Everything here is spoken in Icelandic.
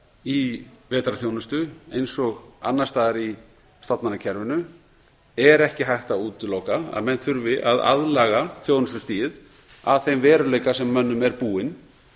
í vetrarþjónustu eins og annars staðar í stofnanakerfinu er ekki hægt að útiloka að menn þurfi að aðlaga þjónustustigið að þeim veruleika sem mönnum er búinn